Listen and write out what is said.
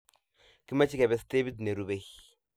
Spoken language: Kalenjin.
Kimache kebee stepit nerube